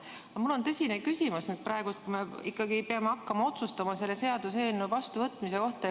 Aga mul on praegu tõsine küsimus, kuna me peame hakkama otsustama selle seaduseelnõu vastuvõtmise üle.